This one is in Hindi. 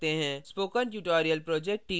spoken tutorial project team